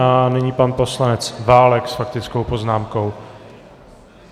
A nyní pan poslanec Válek s faktickou poznámkou.